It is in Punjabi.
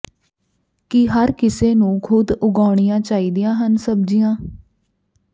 ਕੀ ਹਰ ਕਿਸੇ ਨੂੰ ਖੁਦ ਉਗਾਉਣੀਆਂ ਚਾਹੀਦੀਆਂ ਹਨ ਸਬਜ਼ੀਆਂ